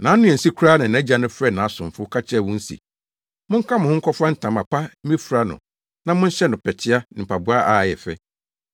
“Nʼano ansi koraa na nʼagya no frɛɛ nʼasomfo ka kyerɛɛ wɔn se, ‘Monka mo ho nkɔfa ntama pa mmefura no na monhyɛ no pɛtea ne mpaboa a ɛyɛ fɛ.